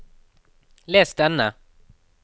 les denne